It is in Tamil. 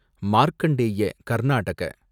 மார்க்கண்டேய கர்நாடக